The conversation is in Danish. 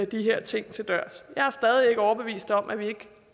de her ting til dørs jeg er stadig ikke overbevist om at vi ikke